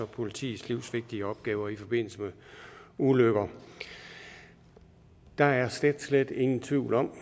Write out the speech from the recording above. politiets livsvigtige opgaver i forbindelse med ulykker der er slet slet ingen tvivl om